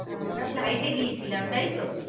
আমরা flight এ গিয়েছিলাম তাই তো?